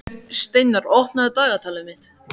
Steinar, opnaðu dagatalið mitt.